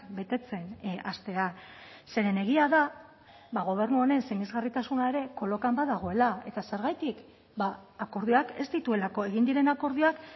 betetzen hastea zeren egia da gobernu honen sinesgarritasuna ere kolokan badagoela eta zergatik akordioak ez dituelako egin diren akordioak